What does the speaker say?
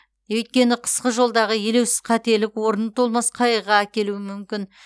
өйткені қысқы жолдағы елеусіз қателік орны толмас қайғыға әкелуі мүмкін